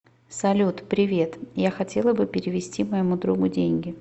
салют привет я хотела бы перевести моему другу деньги